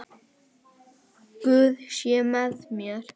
Guð sé með þér.